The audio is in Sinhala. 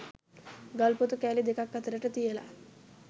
ගල් ‍පොතු කෑලි දෙකක් අතරට තියලා